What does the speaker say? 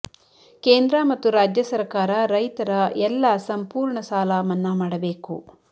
ಕೇಂದ್ರ ಮತ್ತು ರಾಜ್ಯ ಸರಕಾರ ರೈತರ ಎಲ್ಲ ಸಂಪೂರ್ಣ ಸಾಲ ಮನ್ನಾ ಮಾಡಬೇಕು